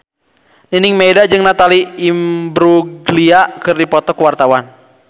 Nining Meida jeung Natalie Imbruglia keur dipoto ku wartawan